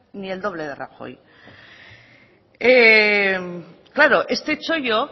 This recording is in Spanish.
ni el doble de rajoy claro este chollo